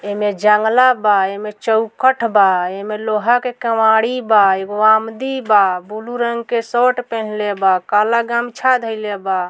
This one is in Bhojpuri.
ऐमें जंगला बा एमें चौखट बा ए में लोहा के कवाड़ी बा एगो आमदी बा ब्लू रंग के सोट पेहेनले बा काला गमछा धइले बा।